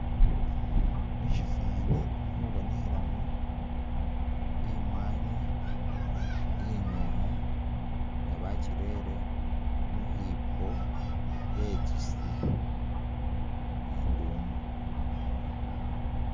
Musifani mulikhubonekhelano imwani inyomu nga bakyilere mukhipo betsusile induumu